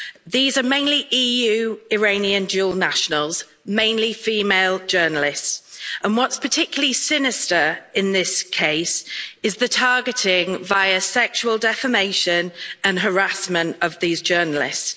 These are mainly EU-Iranian dual nationals, mainly female journalists, and what's particularly sinister in this case is the targeting via sexual defamation and harassment of these journalists.